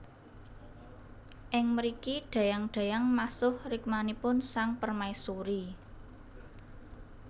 Ing mriki dayang dayang masuh rikmanipun sang permaisuri